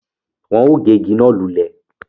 Wọn o gé ìgi náà lulẹ̀